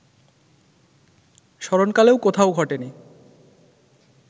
স্মরণকালেও কোথাও ঘটেনি